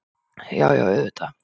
Já, já auðvitað.